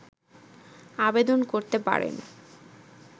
আবেদন করতে পারেন